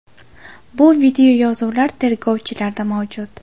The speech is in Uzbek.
Bu videoyozuvlar tergovchilarda mavjud.